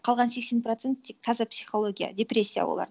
қалған сексен процент тек таза психология депрессия олар